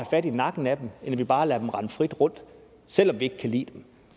fat i nakken af dem end at vi bare lader dem rende frit rundt selv om vi ikke kan lide dem